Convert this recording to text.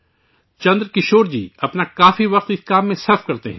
چندرکشور جی اپنا کافی وقت اس کام میں صرف کرتے ہیں